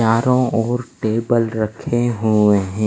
चांरों और टेबल रक्खे हुंवे हैं।